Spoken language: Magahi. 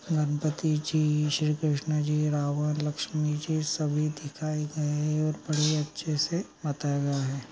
गणपति जी श्री कृष्ण जी रावण लक्ष्मी जी सभी दिखाई गए है और बड़े अच्छे से बताए गए है।